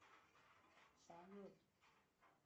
салют